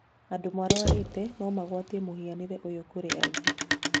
Andũ marwarĩte no magwatie mũhianire ũyũ kũrĩ angĩ.